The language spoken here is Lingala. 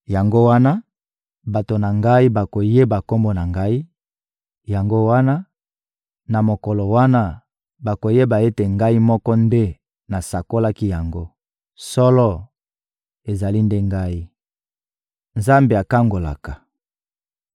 Yango wana, bato na Ngai bakoyeba Kombo na Ngai; yango wana, na mokolo wana, bakoyeba ete Ngai moko nde nasakolaki yango. Solo, ezali nde Ngai.» Nzambe akangolaka